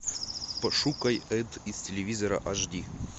пошукай эд из телевизора аш ди